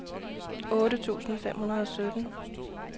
otte tusind fem hundrede og sytten